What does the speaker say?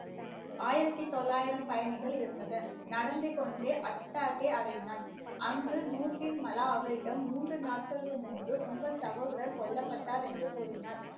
ஆயிரத்தி தொள்ளாயிரம் பயணிகள் இருந்தது. நடந்தே கொண்டே அடைந்தான். அங்கு அவரிடம் மூன்று நாட்களுக்கு முன்பு உங்கள் சகோதரர் கொல்லப்பட்டார் என்று கூறினார்